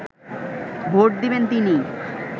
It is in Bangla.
ভোট দেবেন তিনি